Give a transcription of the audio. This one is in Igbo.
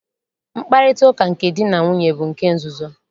Mkparịtaụka nke di na nwunye bụ nke nzuzo.